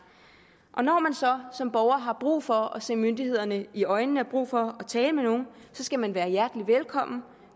og når man så som borger har brug for at se myndighederne i øjnene har brug for at tale med nogle skal man være hjertelig velkommen